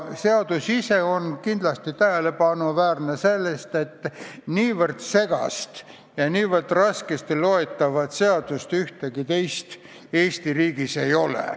Seadus ise on kindlasti tähelepanuväärne ka selle poolest, et ühtegi teist nii segast ja nii raskesti loetavat seadust Eesti riigis vist ei ole.